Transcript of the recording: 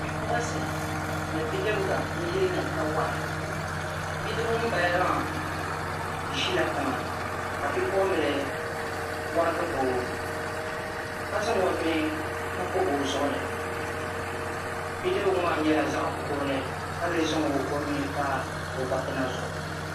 Bipuɣunsi ni bidibsi n yiini kawana biding ŋun bala maa ʒila tiŋa ka bipuɣunbili warigi bao ka zaŋ o nuu bobi ozuɣuni bidibga maa nyɛla zaɣ' kurli ka lee zaŋ onuu pa o gbal pina zuɣu